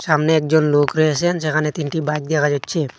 সামনে একজন লোক রয়েসেন যেখানে তিনটি বাইক দেখা যাচ্ছে।